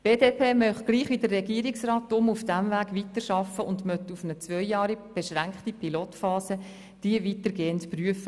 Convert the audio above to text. Die BDP möchte, gleich wie der Regierungsrat, darum auf diesem Weg weiterarbeiten und möchte nach einer zweijährig beschränkten Pilotphase diese eingehend prüfen.